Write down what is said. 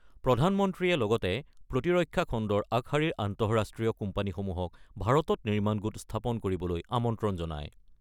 প্ৰধানমন্ত্ৰীয়ে লগতে প্ৰতিৰক্ষা খণ্ডৰ আগশাৰীৰ আন্তঃৰাষ্ট্ৰীয় কোম্পানীসমূহক ভাৰতত নিৰ্মাণ গোট স্থাপন কৰিবলৈ আমন্ত্ৰণ জনায়।